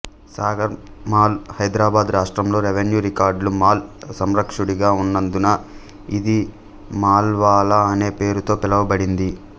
సాగర్ మాల్ హైద్రాబాద్ రాష్ట్రంలో రెవెన్యూ రికార్డుల మాల్ సంరక్షకుడిగా ఉన్నందున ఇది మాల్వాల అనే పేరుతో పిలువబడింది